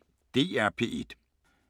DR P1